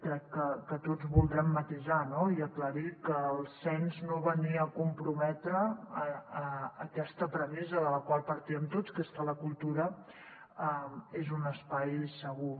crec que tots voldrem matisar no i aclarir que el cens no venia a comprometre aquesta premissa de la qual partíem tots que és que la cultura és un espai segur